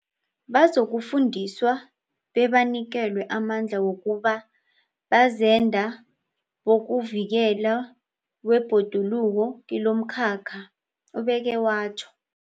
Bazokufundiswa bebanikelwe amandla wokuba bazenda bokuvikelwa kwebhoduluko kilomkhakha, ubeke watjho.